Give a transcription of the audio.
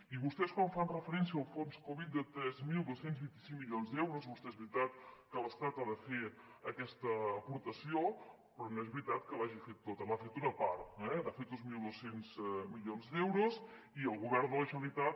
i vostès quan fan referència al fons covid de tres mil dos cents i vint cinc milions d’euros és veritat que l’estat ha de fer aquesta aportació però no és veritat que l’hagi fet tota n’ha fet una part n’ha fet dos mil dos cents milions d’euros i el govern de la generalitat